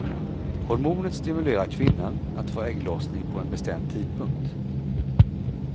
Hormonet stimulerar kvinnan att få ägglossning på en bestämd tidpunkt.